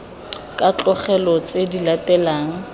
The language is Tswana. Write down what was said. ka tlogelwa tse di latelang